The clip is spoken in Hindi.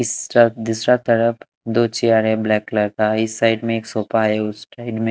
इस तरफ दूसरा तरफ दो चेयर है ब्लैक कलर का इस साइड में एक सोफा है उस साइड में --